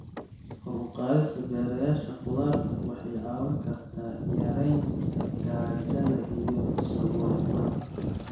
Kor u qaadista beerashada khudaarta waxay caawin kartaa yareynta gaajada iyo saboolnimada.